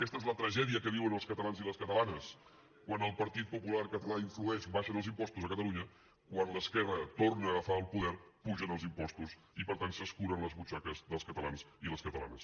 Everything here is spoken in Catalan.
aquesta és la tragèdia que viuen els catalans i les catalanes quan el partit popular català influeix abaixen els impostos a catalunya quan l’esquerra torna a agafar el poder pugen els impostos i per tant s’escuren les butxaques dels catalans i les catalanes